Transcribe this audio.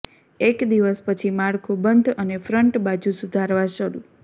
એક દિવસ પછી માળખું બંધ અને ફ્રન્ટ બાજુ સુધારવા શરૂ